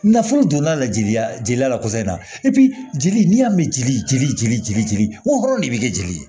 Nafolo donna la jeli jeliya la kosɛbɛ jeli y'a mɛn jeli jeli jeli jeli jeli wo hɔrɔn de be kɛ jeli ye